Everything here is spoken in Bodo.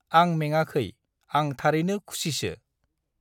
आं मेंआखै आं थारैनो खुसिसो ।